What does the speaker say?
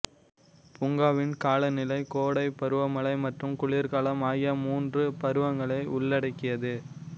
பூங்காவின் காலநிலை கோடை பருவமழை மற்றும் குளிர்காலம் ஆகிய மூன்று பருவங்களை உள்ளடக்கியது